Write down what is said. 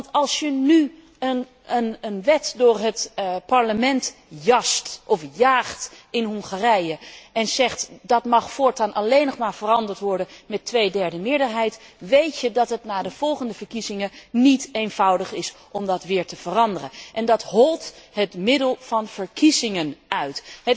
Want als je nu een wet door het Parlement jaagt in Hongarije en zegt dat deze voortaan alleen nog maar veranderd mag worden met een tweederde meerderheid, weet je dat het na de volgende verkiezingen niet eenvoudig is om deze weer te veranderen. Zoiets holt het middel van verkiezingen uit.